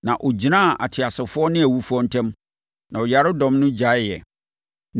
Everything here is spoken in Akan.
Na ɔgyinaa ateasefoɔ ne awufoɔ ntam, na ɔyaredɔm no gyaeeɛ,